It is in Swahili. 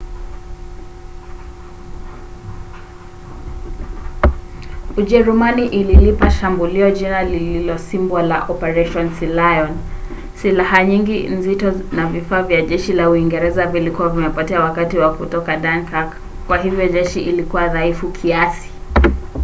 ujerumani ililipa shambulio jina lililosimbwa la operation sealion". silaha nyingi nzito na vifaa vya jeshi la uingereza vilikuwa vimepotea wakati wa kutoka dunkirk kwa hivyo jeshi lilikuwa dhaifu kiasi